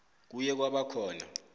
kuye kwaba khona